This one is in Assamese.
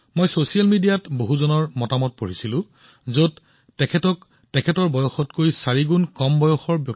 মই সামাজিক মাধ্যমত বহুলোকৰ মন্তব্য দেখিছো যে বাবা শিৱানন্দ তেওঁৰ বয়সৰ চাৰিগুণতকৈ অধিক ফিট